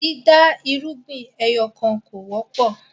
dida irúgbìn ẹyọkan kọ wọpọ